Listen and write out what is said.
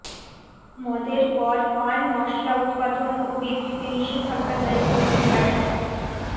মদের পর পান মশলা উৎপাদন ও বিক্রিতে নিষেধাজ্ঞা জারি করল বিহার সরকার